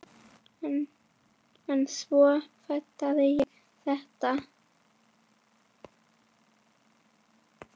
En svo fattaði ég þetta!